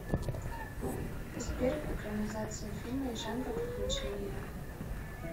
сбер экранизация фильма и жанра приключения